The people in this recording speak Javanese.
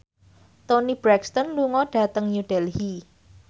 Toni Brexton lunga dhateng New Delhi